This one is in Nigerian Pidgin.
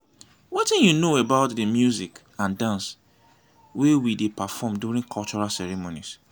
wetin you know about di music and dance wey we dey perform during cultural ceremonies?